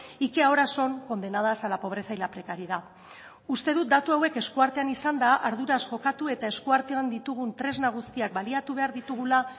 y que ahora son condenadas a la pobreza y la precariedad uste dut datu hauek esku artean izanda arduraz jokatu eta esku artean ditugun tresna guztiak baliatu behar ditugula